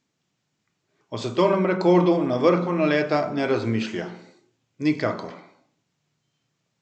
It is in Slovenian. O svetovnem rekordu na vrhu naleta ne razmišlja: "Nikakor.